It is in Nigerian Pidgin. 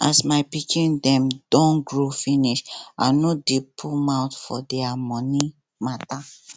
as my pikin dem don grow finish i no dey put mouth for their moni mata